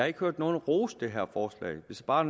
ikke hørt nogen rose det her forslag hvis bare